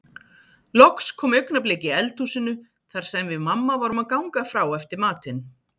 Loks kom augnablik í eldhúsinu þar sem við mamma vorum að ganga frá eftir matinn.